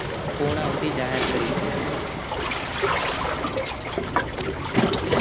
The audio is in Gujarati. પુર્નાવતી જાહેર કરીશું.